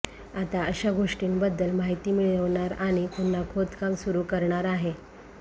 आता अशा गोष्टींबद्दल माहिती मिळवणार आणि पुन्हा खोदकाम सुरु करणार आहे